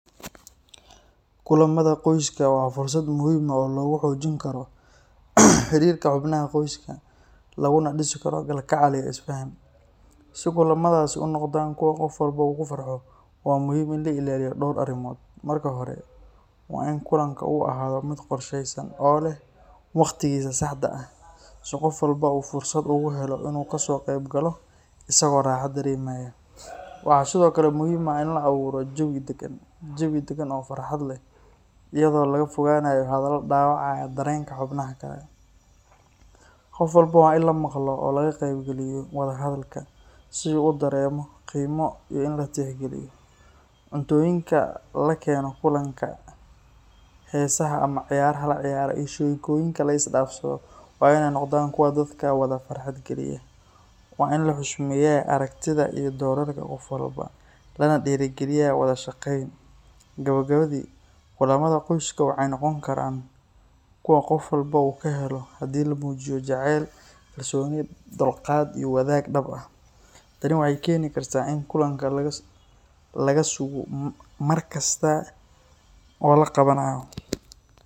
Kulamada qoyska waa fursad muhiim ah oo lagu xoojin karo xiriirka xubnaha qoyska, laguna dhisi karo kalgacal iyo isfaham. Si kulamadaasi u noqdaan kuwo qof walba uu ku farxo, waa muhiim in la ilaaliyo dhowr arrimood. Marka hore, waa in kulanka uu ahaado mid qorshaysan oo leh waqtigiisa saxda ah, si qof walba uu fursad ugu helo inuu ka soo qayb galo isagoo raaxo dareemaya. Waxaa sidoo kale muhiim ah in la abuuro jawi deggan oo farxad leh, iyadoo laga fogaanayo hadallo dhaawacaya dareenka xubnaha kale. Qof walba waa in la maqlo oo laga qaybgeliyo wada hadalka, si uu dareemo qiimo iyo in la tixgeliyo. Cuntooyinka la keeno kulanka, heesaha ama ciyaaraha la ciyaaro, iyo sheekooyinka la is dhaafsado waa inay noqdaan kuwa dadka wada farxad geliya. Waa in la xushmeeyaa aragtida iyo doorarka qof walba, lana dhiirrigeliyaa wada shaqayn. Gabagabadii, kulamada qoyska waxay noqon karaan kuwo qof walba uu ka helo haddii la muujiyo jacayl, kalsooni, dulqaad iyo wadaag dhab ah. Tani waxay keeni kartaa in kulanka laga sugo mar kasta oo la qabanayo.